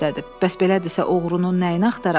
Bəs belədirsə, oğrunun nəyini axtaraq?